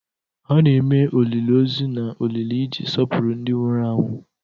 A na-eme olili ozu na olili iji sọpụrụ ndị nwụrụ anwụ.